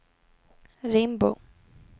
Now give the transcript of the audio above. Rimbo